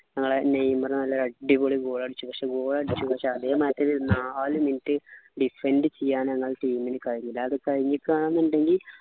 ഞങ്ങളെ നെയ്മർ നല്ല അടിപൊളി goal അടിച്ചു പക്ഷെ goal അടിച്ചു പക്ഷെ ന്ത ച്ചാ അധികം മറ്റൊരു നാല് minute defend ചെയ്യാൻ ആ team നു കഴിഞ്ഞില്ല അത് കഴിഞ്ഞിക്കാന്നുണ്ടെങ്കി